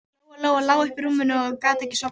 Lóa Lóa lá uppi í rúmi og gat ekki sofnað.